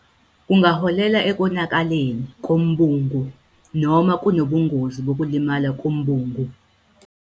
Kungaholela ekonakaleni kombungu noma kunobungozi bokulimala kombungu.